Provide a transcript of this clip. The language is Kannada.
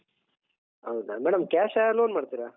ಹೌದಾ madam cash ಆ loan ಮಾಡ್ತೀರಾ?